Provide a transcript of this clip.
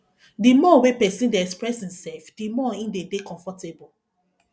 di more wey person dey express im self di more im de dey comfortable